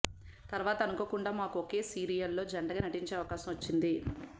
తర్వాత అనుకోకుండా మాకు ఒకే సీరియల్ లో జంటగా నటించే అవకాశం వచ్చింది